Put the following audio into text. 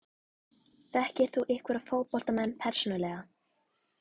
Þekkir þú einhverja fótboltamenn persónulega?